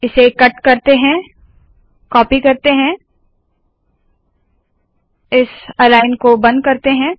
इसे कट करते है कॉपी करते है इस अलाइन को बंद करते है